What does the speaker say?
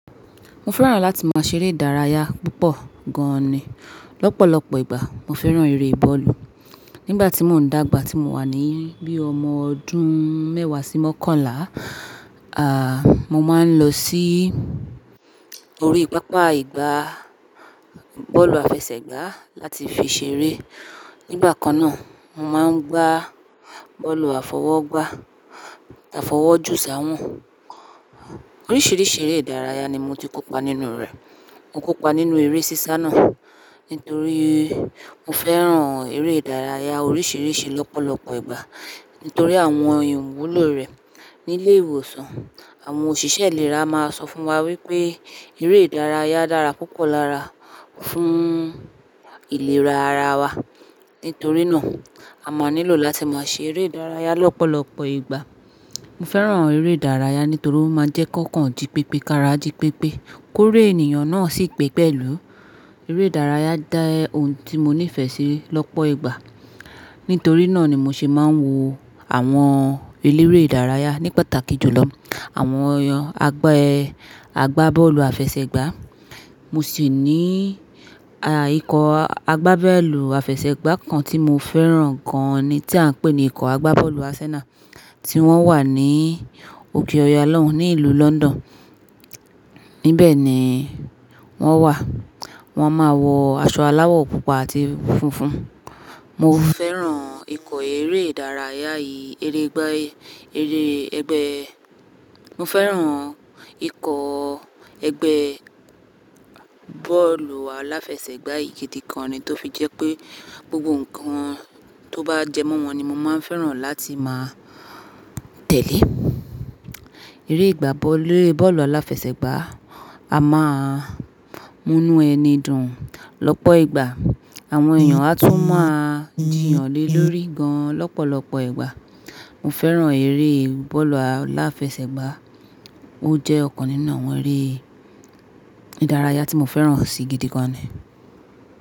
Mo fẹ́ràn láti máa ṣeré ìdárayá púpọ̀ gan ni. Lọ́pọ̀lọ́pọ̀ ìgbà mo fẹ́ràn eré bọ́ọ̀lù. Nígbà tí mò ń dàgbà tí mo wà ní bí ọmọ ọdún mẹ́wà sí mọ́kànlá, à, mo máa ń lọ sí orí pápá ìgbà bọ́ọ̀lù àfẹsẹ̀gbá láti fi ṣeré. Nígbà kan náà, mo máa ń gbá bọ́ọ̀lù àfọwọ́gbá, àfọwọ́jù sáwọ̀n. Oríṣìíríṣìí eré ìdárayá ni mo ti kópa nínú rẹ̀. Mo kópa nínú eré sísá náà nítorí mo fẹ́ràn eré ìdárayá oríṣìíríṣìí lọ́pọ̀lọ́pọ̀ ìgbà nítorí àwọn ìwúlò rẹ̀ ní ilé ìwòsàn. Àwọn òṣìṣẹ́ ìlera máa sọ fún wa wípé eré ìdárayá dára púpọ̀ lára fún ìlera ara wa. Nítorí náà, a máa nílò láti máa ṣe eré ìdárayá lọ́pọ̀lọ́pọ̀ ìgbà. Mo fẹ́ràn eré ìdárayá nítorí ó máa ń jẹ́ ki ọ́kàn ji pipé, kára jí pípé, ki óri ènìyàn náà sì pípẹ̀lú. Eré ìdárayá dá ẹ ohun tí mo nífẹ̀ẹ́ sí lọ́pọ̀ ìgbà. Nítorí náà ni mo ṣe máa ń wo àwọn eléré ìdárayá ní pàtàkì jù lọ. Àwọn eeyàn àgbá, àgbá bọ́ọ̀lù àfẹsẹ̀gbá. Mo sì ní, a, ikọ̀ àgbá bọ́ọ̀lù àfẹsẹ̀gbá kan tí mo fẹ́ràn gan ni tí à ń pè ní ikọ̀ àgbá bọ́ọ̀lù Arsenal tí wọ́n wà ní òkè Ọya lọ́hùn, ní ìlú London. Nibẹ̀ ni wọ́n wà. Wọ́n máa wọ aṣọ aláwọ̀ pupa àti funfun. Mo fẹ́ràn ikọ̀ eré ìdárayá yìí, eré ẹgbẹ́, eré ẹgbẹ́. Mo fẹ́ràn ikọ̀ ẹgbẹ́ bọ́ọ̀lù aláfẹsẹ̀gbá yìí gidi gan ni tó fi jẹ́ pé gbogbo nǹkan tó bá jẹ mọ́ wọn ni mo máa ń fẹ́ràn láti máa tẹ̀lé. Eré ìgbá bọ́ọ̀lù, bọ́ọ̀lù aláfẹsẹ̀gbá, a máa múnú ẹni dùn lọ́pọ̀ ìgbà. Àwọn èèyàn á tún máa jìyàn le lórí gan lọ́pọ̀lọ́pọ̀ ìgbà. Mo fẹ́ràn eré bọ́ọ̀lù aláfẹsẹ̀gbá. Ó jẹ́ ọ̀kan nínú àwọn eré ìdárayá tí mo fẹ́ràn si gidi gan ni.